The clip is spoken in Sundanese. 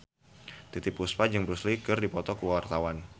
Titiek Puspa jeung Bruce Lee keur dipoto ku wartawan